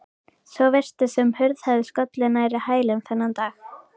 Svo virtist sem hurð hefði skollið nærri hælum þennan dag.